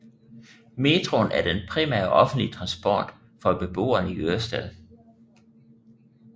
Metroen er den primære offentlige transport for beboerne i Ørestad